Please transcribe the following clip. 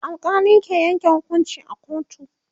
alkali ke Yanke hukunci a kotu